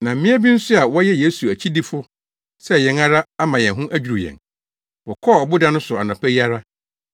Na mmea bi nso a wɔyɛ Yesu akyidifo sɛ yɛn ara ama yɛn ho adwiriw yɛn. Wɔkɔɔ ɔboda no so anɔpa yi ara,